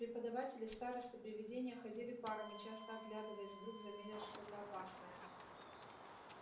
преподаватели старосты привидения ходили парами часто оглядываясь вдруг заметят что-то опасное